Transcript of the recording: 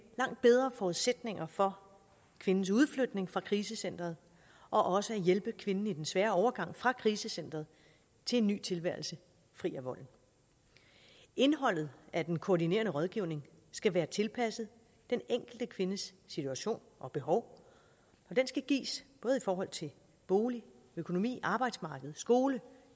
langt bedre forudsætninger for kvindens udflytning fra krisecenteret og også at hjælpe kvinden i den svære overgang fra krisecenteret til en ny tilværelse fri af volden indholdet af den koordinerende rådgivning skal være tilpasset den enkelte kvindes situation og behov og den skal gives både i forhold til bolig økonomi arbejdsmarked skole